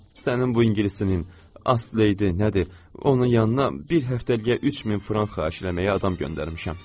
Sənin bu ingilisçinin Asleyidi, nədir, onun yanına bir həftəliyə 3 min frank xahiş eləməyə adam göndərmişəm.